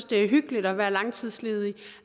det er hyggeligt at være langtidsledig